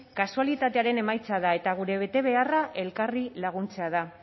kasualitatearen emaitza da eta gure betebeharra elkarri laguntzea da